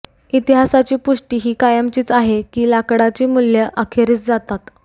इतिहासाची पुष्टी ही कायमचीच आहे की लाकडाची मूल्ये अखेरीस जातात